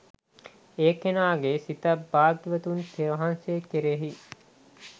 ඒ කෙනාගේ සිත භාග්‍යවතුන් වහන්සේ කෙරෙහි